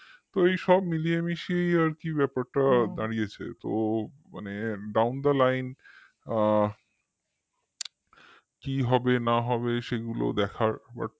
এইসব মিলিয়ে মিশিয়ে আর কি ব্যাপারটা দাঁড়িয়েছে তো মানে downtheline আ কি হবে না হবে সেগুলো দেখার